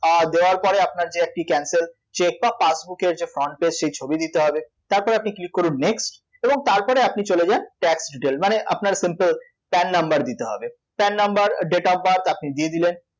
দেওয়ার পরে আপনার যে একটি cancel check বা passbook এর যে front page সেই ছবি দিতে হবে তারপরে আপনি click করুন next এবং তারপরে আপনি চলে যান tax detail মানে আপনার simple PAN number দিতে হবে PAN number date of birth আপনি দিয়ে দিলেন